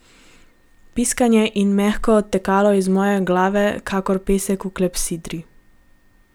Piskanje je mehko odtekalo iz moje glave kakor pesek v klepsidri.